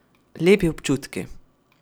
Lepi občutki.